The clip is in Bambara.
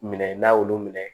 Minɛ n'a y'olu minɛ